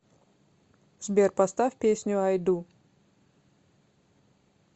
сбер поставь песню ай ду